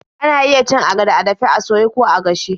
Ana iya cin agada a dafe, a soye, ko a gashe.